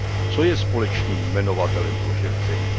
Co je společným jmenovatelem pro šest zemí?